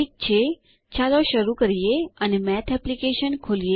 ઠીક છે ચાલો શરુ કરીએ અને મેથ એપ્લીકેશન ખોલીએ